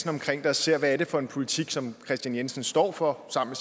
omkring det og ser hvad det er for en politik som kristian jensen står for sammen